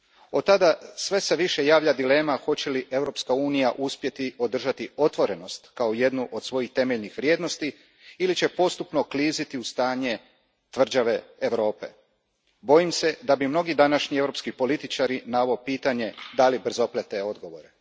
Od tada sve se više javlja dilema hoće li Europska unija uspjeti održati otvorenost kao jednu od svojih temeljnih vrijednosti ili će postupno kliziti u stanje tvrđave Europe. Bojim se da bi mnogi današnji europski političari na ovo pitanje dali brzoplete odgovore.